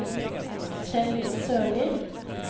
Kjell Sørli